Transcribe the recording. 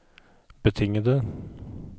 betingede